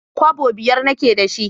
Kwabbo biyar na ke da shi